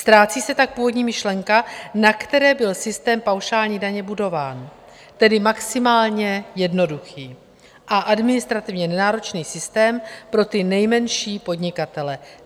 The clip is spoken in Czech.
Ztrácí se tak původní myšlenka, na které byl systém paušální daně budován, tedy maximálně jednoduchý a administrativně nenáročný systém pro ty nejmenší podnikatele.